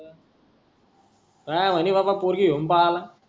काई म्हणी बाबा पोरगी घेऊन पळाला